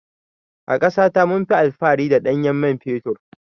A ƙasa ta munfi alfahari da ɗanyen mai fetur.